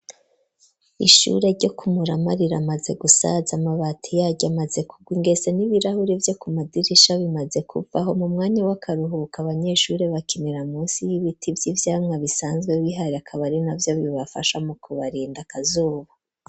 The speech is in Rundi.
Ishure ryo kumurama riramaze gusaza amabati yaryo amaze kugwa ingese ,n'ibirahuri vyo ku madirisha bimaze kuvaho mu mwanya w'akaruhuka abanyeshuri bakinira munsi y'ibiti vy'ivyamwa, bisanzwe bihare akabari na vyo bibafashamwo kubarinda akazuba.